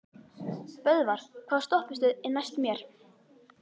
Böðvar, hvaða stoppistöð er næst mér?